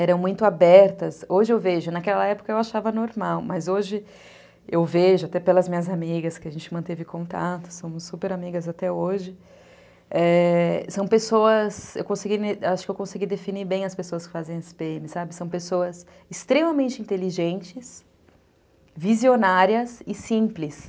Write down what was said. eram muito abertas, hoje eu vejo, naquela época eu achava normal, mas hoje eu vejo, até pelas minhas amigas que a gente manteve contato, somos super amigas até hoje, é, são pessoas, eu acho que eu consegui definir bem as pessoas que fazem esse pê eme, são pessoas extremamente inteligentes, visionárias e simples.